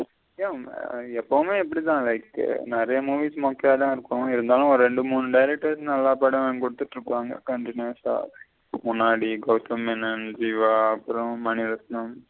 எப்பவுமே இப்படித்த like நெறைய movies மொக்கைய தா இருக்கும். இருந்தாலும் ஒரு ரெண்டு மூணு directors நல்ல படம் வாங்கி குடுத்துட்டு இருப்பாங்க continue ஸ முன்னாடி கௌதம்மேனன், ஜீவா அப்புறம் மணிரத்தினம்னு.